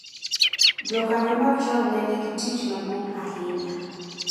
jokanyo machon ne nigi tich maduong’ ahinya